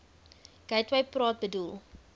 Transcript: gateway praat bedoel